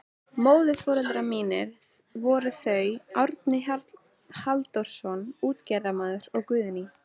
Móðurforeldrar mínir voru þau Árni Halldórsson útgerðarmaður og Guðný